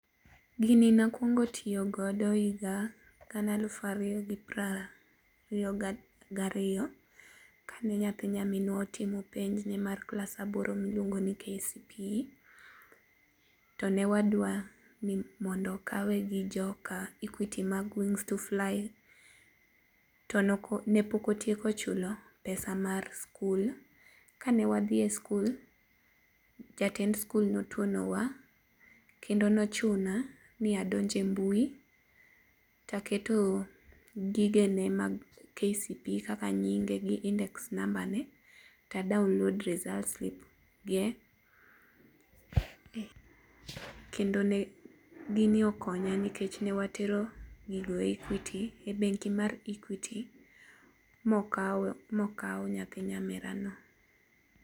Gini ne akuongo tiyogo e higa gana alufu ariyo gariyo kane nyathi nyaminwa otimo penj mar KCPE, t ne wadwa ni mondo okawe gi jokaEquity mag wings to fly , to ne pok otieko chulo pesa mar sikul. Kane wadhi e sikul, jatend sikul notwonowa kendo nochuna ni adonj e mbui, taketo gigene mag KCPE, kaka nyinge kod [index number to a download results ge. Kende ne gini okonya nikech ne atero gigi e bengi mar Equity ma okaw nyathi nyamerano.